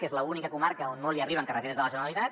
que és l’única comarca on no hi arriben carreteres de la generalitat